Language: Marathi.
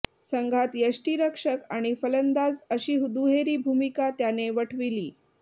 संघात यष्टीरक्षक आणि फलंदाज अशी दुहेरी भूमिका त्याने वठविली